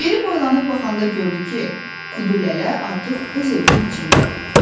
Geri boylanıb baxanda gördü ki, Kudulələ artıq öz evinin içindədir.